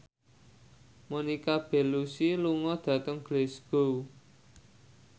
Monica Belluci lunga dhateng Glasgow